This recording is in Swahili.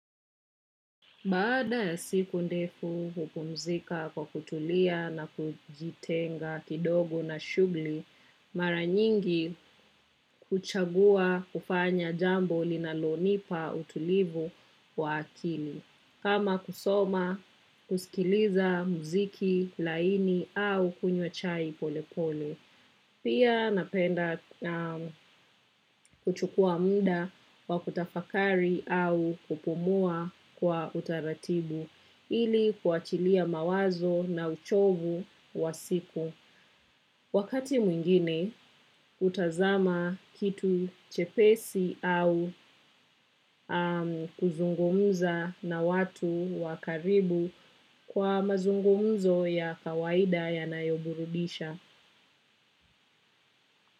Baada ya siku ndefu hupumzika kwa kutulia na kujitenga kidogo na shughuli, mara nyingi huchagua kufanya jambo linalonipa utulivu wa akili. Kama kusoma, kusikiliza muziki laini au kunywa chai pole pole. Pia napenda kuchukua muda wa kutafakari au kupumua kwa utaratibu ili kuachilia mawazo na uchovu wa siku. Wakati mwingine hutazama kitu chepesi au kuzungumza na watu wa karibu kwa mazungumzo ya kawaida yanayoburudisha.